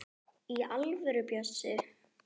Í alvöru, Bjössi.